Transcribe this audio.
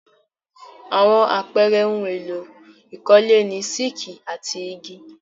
Àwọn àpẹẹrẹ ohun-èlò ìkọ́lé ni sííkì and igi.